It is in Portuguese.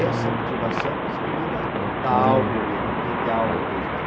Essa motivação é coisa que vem da da alma mesmo, aquela coisa de alma mesmo.